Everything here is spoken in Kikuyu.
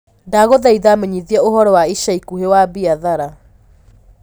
ndagũthaĩtha menyithia ũhoro wa ĩca ĩkũhĩ wa biathara